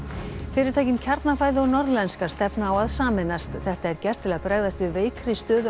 fyrirtækin Kjarnafæði og Norðlenska stefna á að sameinast þetta er gert til að bregðast við veikri stöðu